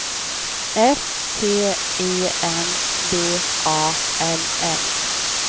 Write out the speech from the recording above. S T E N V A L L